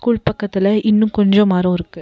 உள்பக்கத்துல இன்னு கொஞ்ஜோ மரோ இருக்கு.